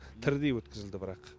тірідей өткізілді бірақ